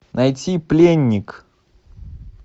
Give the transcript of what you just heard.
найти пленник